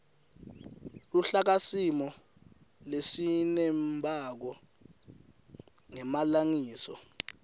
luhlakasimo lesinembako ngemalengiso